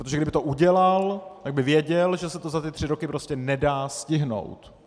Protože kdyby to udělal, tak by věděl, že se to za ty tři roky prostě nedá stihnout.